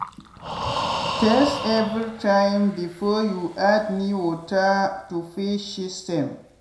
test everytime before you add new water to fish system.